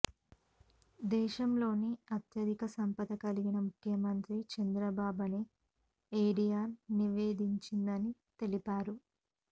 దేశంలోని అత్యధిక సంపద కలిగిన ముఖ్యమంత్రి చంద్రబాబు అని ఏడీఆర్ నివేదించిందని తెలిపారు